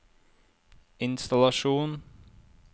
innstallasjon